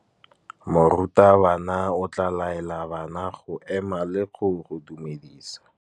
Morutabana o tla laela bana go ema le go go dumedisa.